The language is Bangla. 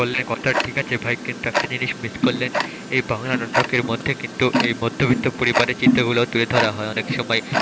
বললে কথা ঠিক আছে ভাই কিন্তু একটা জিনিস miss করলেন এই বাংলা নাটকের মধ্যে কিন্তু এই মধ্যবিত্ত পরিবারের চিত্রগুলোও তুলে ধরা হয় অনেক সময়,